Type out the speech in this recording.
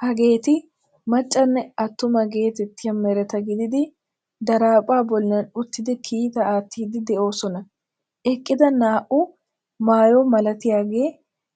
Hageeti maccanne attuma geetettiya mereta gidiiddi daraphphaa bollan uttidi kiitaa aattiiddi de'oosona. Eqqida naa"u maayo malatiyaagee